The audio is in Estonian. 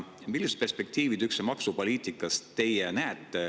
Millist perspektiivi teie üldse maksupoliitikas näete?